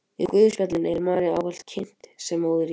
Í guðspjöllunum er María ávallt kynnt sem móðir Jesú.